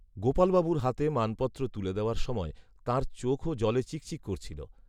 গোপালবাবুর হাতে মানপত্র তুলে দেওয়ার সময় তাঁর, চোখও জলে চিকচিক করছিল